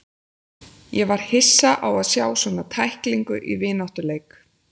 Ég var hissa á að sjá svona tæklingu í vináttuleik.